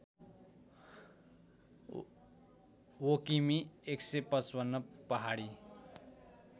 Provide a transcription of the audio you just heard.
वकिमि १५५ पहाडी